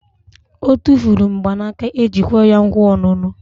Otufuru mgbanaka eji kwe ya nkwa onunu